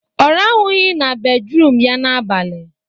Ọ rahụghọ na bedruum ya n'abalị